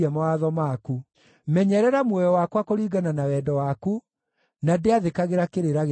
Menyerera muoyo wakwa kũringana na wendo waku, na ndĩathĩkagĩra kĩrĩra gĩa kanua gaku.